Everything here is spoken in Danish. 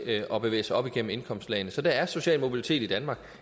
at bevæge sig op igennem indkomstlagene så der er social mobilitet i danmark